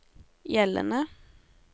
gjeldende